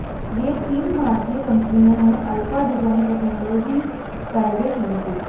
ये तीन भारतीय कंपनियां हैं अल्फा डिजाइन टेक्नोलॉजीज प्राइवेट लि